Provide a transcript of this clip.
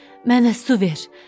Mənə su ver.